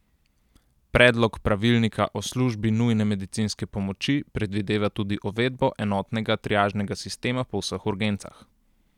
Predlog pravilnika o službi nujne medicinske pomoči predvideva tudi uvedbo enotnega triažnega sistema po vseh urgencah.